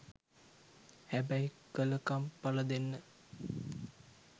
හැබැයි කල කම් පල දෙන්න